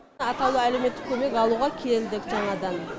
атаулы әлеуметтік көмек алуға келдік жаңадан